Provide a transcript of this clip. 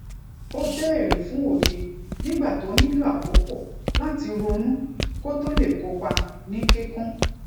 ó béèrè fún òye nígbà tó nílò àkókò láti ronú kó tó lè kópa ní kíkún